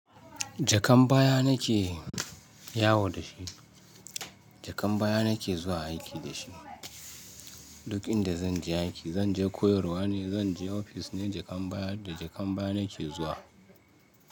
Jakan baya nake yawo da shi, jakan baya nake zuwa aiki da shi. Duk inda zan je aiki, zan je koyarwa ne, zan je ofis ne, jakan baya da jakan baya nake zuwa.